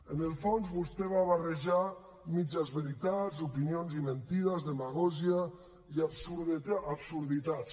en el fons vostè va barrejar mitges veritats opinions i mentides demagògia i absurditats